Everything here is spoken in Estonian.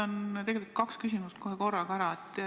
Ma esitan kohe kaks küsimust korraga.